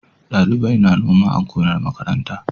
Ɗalibai na noma a gonar makaranta.